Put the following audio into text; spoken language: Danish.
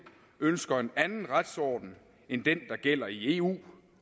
ønsker en anden retsorden end den der gælder i eu